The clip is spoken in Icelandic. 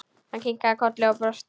Hann kinkaði kolli og brosti.